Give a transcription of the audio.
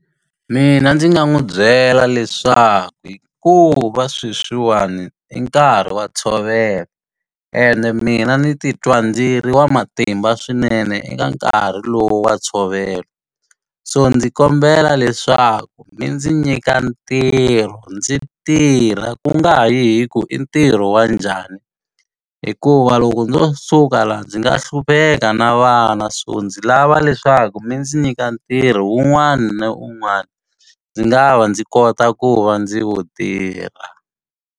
Mina ndzi nga n'wi byela leswaku hikuva sweswiwani i nkarhi wa ntshovelo, ende mina ni ti twa ndzi ri wa matimba swinene eka nkarhi lowu wa ntshovelo. So ndzi kombela leswaku mi ndzi nyika ntirho ndzi tirha ku nga ha yi hi ku i ntirho wa njhani. Hikuva loko ndzo suka laha ndzi nga hlupheka na vana, so ndzi lava leswaku mi ndzi nyika ntirho un'wana na un'wana ndzi nga va ndzi kota ku va ndzi vo tirha.